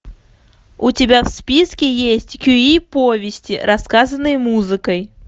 у тебя в списке есть кюи повести рассказанные музыкой